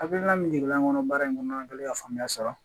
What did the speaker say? Hakilina min jiginna n kɔnɔ baara in kɔnɔna ka faamuya sɔrɔ